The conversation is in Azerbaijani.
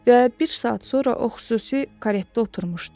Və bir saat sonra o xüsusi karretə oturmuşdu.